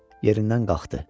Yerindən qalxdı.